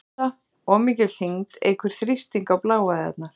Offita- Of mikil þyngd eykur þrýsting á bláæðarnar.